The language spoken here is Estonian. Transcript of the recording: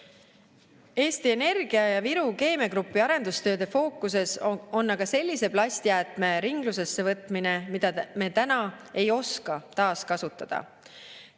Eesti Energia ja Viru Keemia Grupi arendustööde fookuses on aga sellise plastjäätme ringlusse võtmine, mida me täna ei oska taaskasutada.